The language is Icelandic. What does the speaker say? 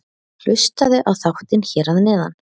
Hlustaðu á þáttinn hér að neðan.